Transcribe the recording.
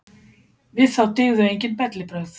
Við þá dygðu enginn bellibrögð.